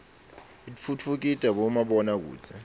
itfutfukida bomabona kudze